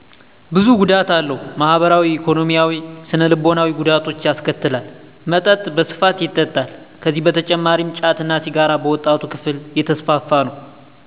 ብዙ ጉዳት አለው፣ ማህበራዊ፣ ኢኮኖሚያዊያዊ፣ ስነ ልቦናዊ ጉዳቶች ያስከትላል። መጠጥ በስፋት ይጠጣል። ከዚህ በተጨማሪም ጫት እና ሲጋር በወጣቱ ክፍል የተስፋፋ ነው።